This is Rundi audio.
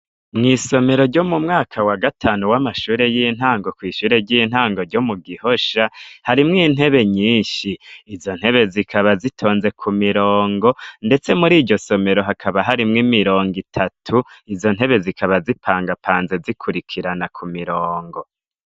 Mw'isomero ryo mu mwaka wa gatanu w'amashure y'intango kw'ishure ry'intango ryo mu Gihosha, harimwo intebe nyinshi. Izo ntebe zikaba zitonze k'umurongo, ndetse mur'iryo somero hakaba harimwo imirongo itatu. Izo ntebe zikaba zipangapanze zikurikirana ku mirongo.